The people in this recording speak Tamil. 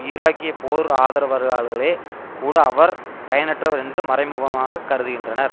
ஈராக்கிய போர் ஆதரவாளர்களே கூட அவர் பயனற்றவர் என்று மறைமுகமாக கருதுகின்றனர்